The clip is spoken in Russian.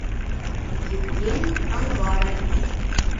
евгений анварович